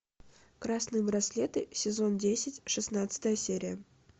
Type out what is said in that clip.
красные браслеты сезон десять шестнадцатая серия